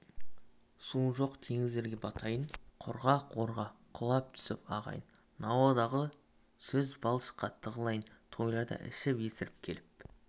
суы жоқ теңіздерге батайын құрғақ орға құлап түсіп ағайын науадағы саз-балшыққа тығылайын тойларда ішіп есіріп келіп